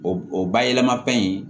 O o bayɛlɛma in